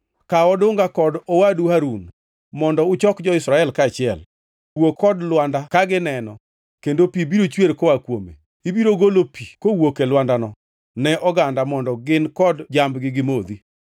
“Kaw odunga, kod owadu Harun mondo uchok jo-Israel kaachiel. Wuo kod lwanda ka gineno kendo pi biro chwer koa kuome. Ibiro golo pi kowuok e lwandano ne oganda mondo gin kod jambgi gimodhi.”